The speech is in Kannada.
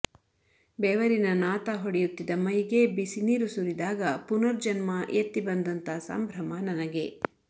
ಬೆವರಿನ ನಾತ ಹೊಡೆಯುತ್ತಿದ್ದ ಮೈಗೆ ಬಿಸಿ ನೀರು ಸುರಿದಾಗ ಪುನರ್ಜನ್ಮ ಎತ್ತಿ ಬಂದಂತ ಸಂಭ್ರಮ ನನಗೆ